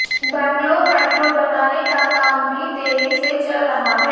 Bangalore metro बनाने का काम भी देरी से चल रहा है